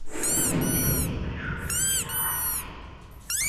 у тебя есть большое разочарование